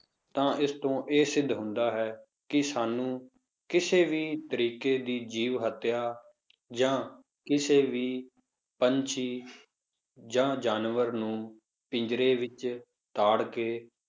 ਤਾਂ ਇਸ ਤੋਂ ਇਹ ਸਿੱਧ ਹੁੰਦਾ ਹੈ, ਕਿ ਸਾਨੂੰ ਕਿਸੇ ਵੀ ਤਰੀਕੇ ਦੀ ਜੀਵ ਹੱਤਿਆ ਜਾਂ ਕਿਸੇ ਵੀ ਪੰਛੀ ਜਾਂ ਜਾਨਵਰ ਨੂੰ ਪਿੰਜਰੇ ਵਿੱਚ ਤਾੜ ਕੇ